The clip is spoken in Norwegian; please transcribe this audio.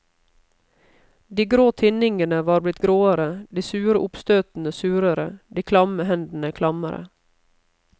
De grå tinningene var blitt gråere, de sure oppstøtene surere, de klamme hendene klammere.